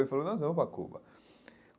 Ele falou, nós vamos para a Cuba.